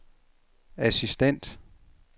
assistent